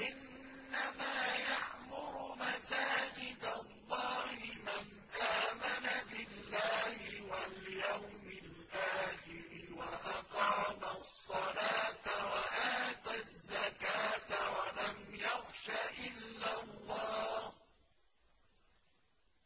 إِنَّمَا يَعْمُرُ مَسَاجِدَ اللَّهِ مَنْ آمَنَ بِاللَّهِ وَالْيَوْمِ الْآخِرِ وَأَقَامَ الصَّلَاةَ وَآتَى الزَّكَاةَ وَلَمْ يَخْشَ إِلَّا اللَّهَ ۖ